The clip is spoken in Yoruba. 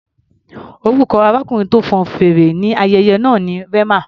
Orúkọ arákùnrin tó fọn fèrè ní ayẹyẹ náà ni Rema.